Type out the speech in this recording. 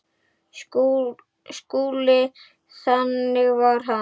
SKÚLI: Þannig var hann.